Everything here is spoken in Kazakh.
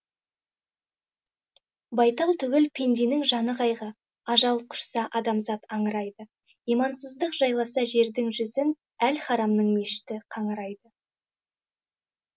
байтал түгіл пенденіңжаны қайғы ажал құшса адамзат аңырайды имансыздық жайласа жердің жүзінәл харамның мешіті қаңырайды